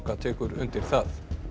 tekur undir það